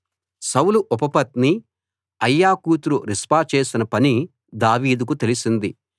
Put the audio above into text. సౌలు ఉపపత్ని అయ్యా కూతురు రిస్పా చేసిన పని దావీదుకు తెలిసింది